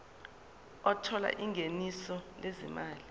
othola ingeniso lezimali